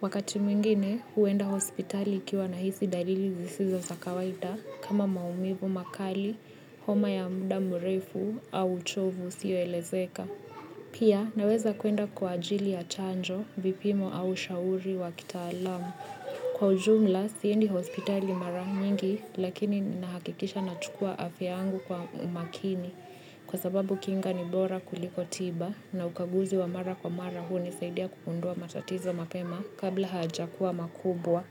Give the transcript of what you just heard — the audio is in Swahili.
Wakati mwingine, huenda hospitali nikiwa nahisi dalili zisizo za kawaida kama maumivu makali, homa ya muda mrefu au uchovu usioelezeka. Pia naweza kuenda kwa ajili ya chanjo, vipimo au shauri wa kitaalamu. Kwa ujumla, siendi hospitali mara nyingi lakini ninahakikisha nachukua afya yangu kwa makini, kwa sababu kinga ni bora kuliko tiba, na ukaguzi wa mara kwa mara hunisaidia kugundua matatizo mapema kabla hayajakuwa makubwa.